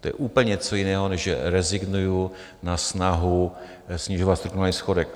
To je úplně něco jiného, než že rezignuji na snahu snižovat strukturální schodek.